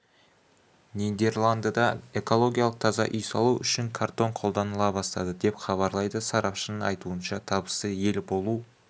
нидерландыда экологиялық таза үй салу үшін картон қолданыла бастады деп хабарлайды сарапшының айтуынша табысты ел болу